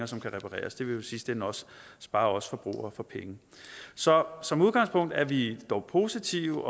som kan repareres det vil jo i sidste ende også spare os forbrugere for penge så som udgangspunkt er vi dog positive